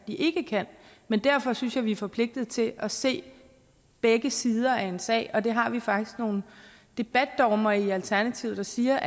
ikke kan men derfor synes jeg vi er forpligtet til at se begge sider af en sag det har vi faktisk nogle debatdogmer i alternativet der siger